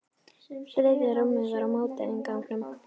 Þriðja rúmið var á móti innganginum.